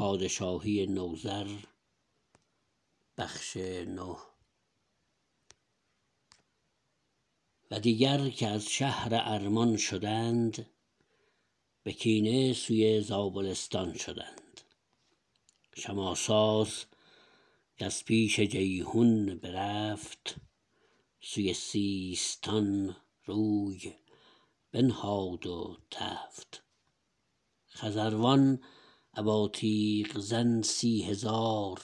و دیگر که از شهر ارمان شدند به کینه سوی زابلستان شدند شماساس کز پیش جیحون برفت سوی سیستان روی بنهاد و تفت خزروان ابا تیغ زن سی هزار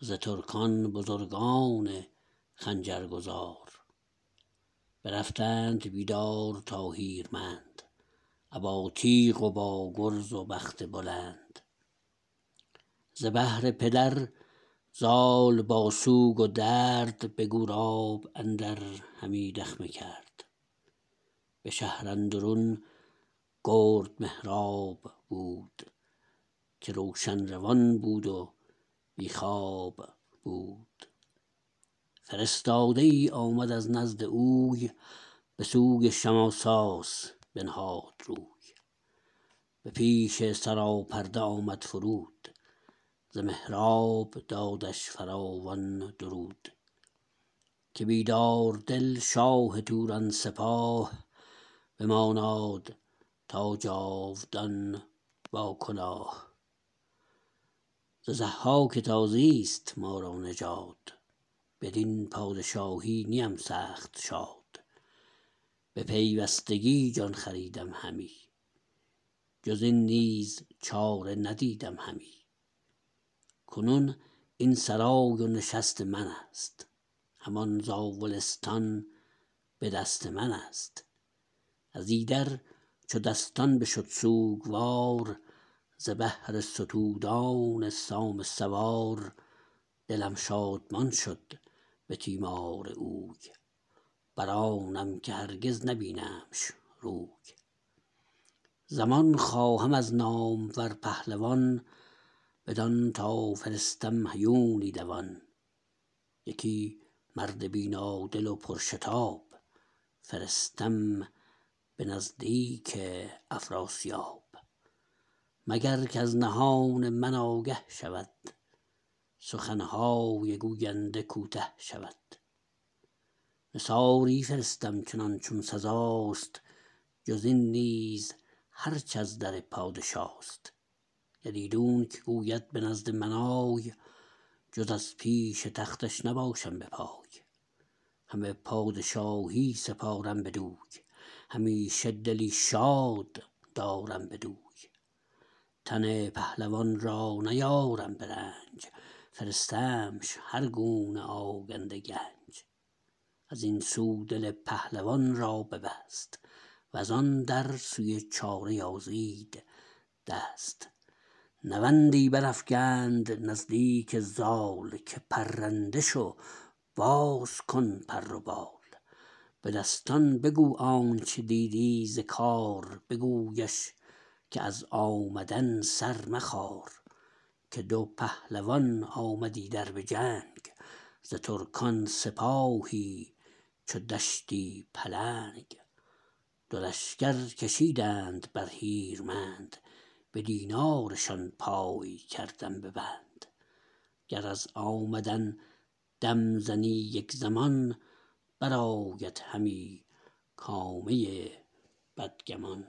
ز ترکان بزرگان خنجرگزار برفتند بیدار تا هیرمند ابا تیغ و با گرز و بخت بلند ز بهر پدر زال با سوگ و درد به گوراب اندر همی دخمه کرد به شهر اندرون گرد مهراب بود که روشن روان بود و بی خواب بود فرستاده ای آمد از نزد اوی به سوی شماساس بنهاد روی به پیش سراپرده آمد فرود ز مهراب دادش فراوان درود که بیداردل شاه توران سپاه بماناد تا جاودان با کلاه ز ضحاک تازیست ما را نژاد بدین پادشاهی نیم سخت شاد به پیوستگی جان خریدم همی جز این نیز چاره ندیدم همی کنون این سرای و نشست منست همان زاولستان به دست منست ازایدر چو دستان بشد سوگوار ز بهر ستودان سام سوار دلم شادمان شد به تیمار اوی برآنم که هرگز نبینمش روی زمان خواهم از نامور پهلوان بدان تا فرستم هیونی دوان یکی مرد بینادل و پرشتاب فرستم به نزدیک افراسیاب مگر کز نهان من آگه شود سخنهای گوینده کوته شود نثاری فرستم چنان چون سزاست جز این نیز هرچ از در پادشاست گر ایدونک گوید به نزد من آی جز از پیش تختش نباشم به پای همه پادشاهی سپارم بدوی همیشه دلی شاد دارم بدوی تن پهلوان را نیارم به رنج فرستمش هرگونه آگنده گنج ازین سو دل پهلوان را ببست وزان در سوی چاره یازید دست نوندی برافگند نزدیک زال که پرنده شو باز کن پر و بال به دستان بگو آنچ دیدی ز کار بگویش که از آمدن سر مخار که دو پهلوان آمد ایدر بجنگ ز ترکان سپاهی چو دشتی پلنگ دو لشکر کشیدند بر هیرمند به دینارشان پای کردم به بند گر از آمدن دم زنی یک زمان برآید همی کامه بدگمان